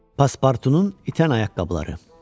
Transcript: Paspartunun itən ayaqqabıları.